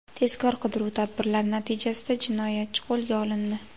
Tezkor qidiruv tadbirlari natijasida jinoyatchi qo‘lga olindi.